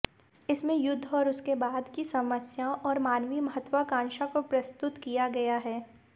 इसमें युद्ध और उसके बाद की समस्याओं और मानवीय महत्वाकांक्षा को प्रस्तुत किया गया है